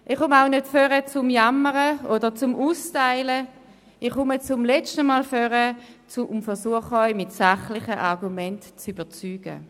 Ich komme auch nicht nach vorne, um zu jammern oder um auszuteilen, ich komme zum letzten Mal nach vorne und versuche, Sie mit sachlichen Argumenten zu überzeugen.